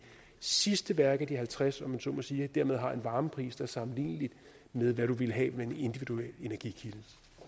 sidste værk af de halvtreds om man så må sige dermed har en varmepris der er sammenlignelig med hvad du ville have med en individuel energikilde